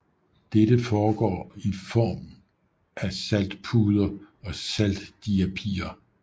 Dette sker i form af saltpuder og saltdiapirer